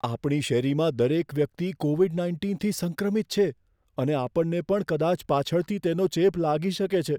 આપણી શેરીમાં દરેક વ્યક્તિ કોવિડ નાઇન્ટીનથી સંક્રમિત છે અને આપણને પણ કદાચ પાછળથી તેનો ચેપ લાગી શકે છે.